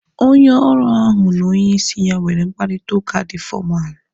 Onye ọrụ ahu na onye isi ya nwere mkparịta ụka dị fọmalu